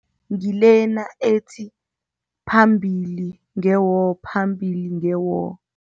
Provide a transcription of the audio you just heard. Ngilena ethi, phambili nge-war, phambili nge-war.